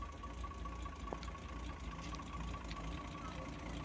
खालचा